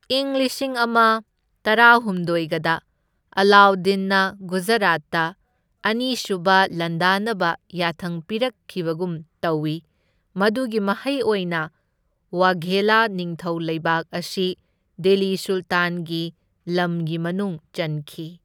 ꯏꯪ ꯂꯤꯁꯤꯡ ꯑꯃ ꯇꯔꯥꯍꯨꯝꯗꯣꯢꯒꯗ ꯑꯂꯥꯎꯗꯗꯤꯟꯅ ꯒꯨꯖꯔꯥꯠꯇ ꯑꯅꯤꯁꯨꯕ ꯂꯥꯟꯗꯥꯅꯕ ꯌꯥꯊꯪ ꯄꯤꯔꯛꯈꯤꯕꯒꯨꯝ ꯇꯧꯏ, ꯃꯗꯨꯒꯤ ꯃꯍꯩ ꯑꯣꯏꯅ ꯋꯥꯘꯦꯂꯥ ꯅꯤꯡꯊꯧ ꯂꯩꯕꯥꯛ ꯑꯁꯤ ꯗꯤꯜꯂꯤ ꯁꯨꯜꯇꯥꯟꯒꯤ ꯂꯝꯒꯤ ꯃꯅꯨꯡ ꯆꯟꯈꯤ꯫